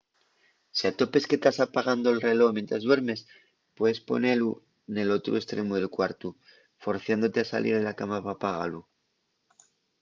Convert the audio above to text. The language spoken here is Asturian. si atopes que tas apagando’l reló mientres duermes puedes ponelu nel otru estremu del cuartu forciándote a salir de la cama p’apagalu